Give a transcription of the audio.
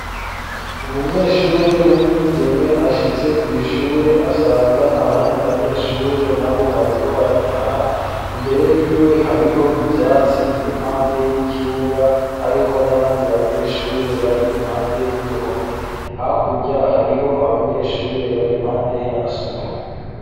umunyeshure w'umwigeme ashitse kw' ishure asanga abandi banyeshure nabo bariko barataha imbere y'iwe hariho ivyatsi birimpande y'ikibuga hariho n'abandi banyeshure bari impande y'uruhome hakurya hariho abanyeshure bari impande y'amasomero